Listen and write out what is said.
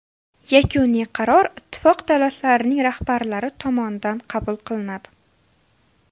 Yakuniy qaror Ittifoq davlatlarining rahbarlari tomonidan qabul qilinadi.